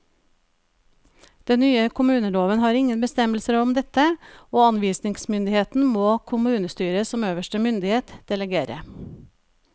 Den nye kommuneloven har ingen bestemmelser om dette, og anvisningsmyndigheten må kommunestyret som øverste myndighet delegere.